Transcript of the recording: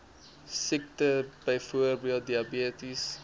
siektes byvoorbeeld diabetes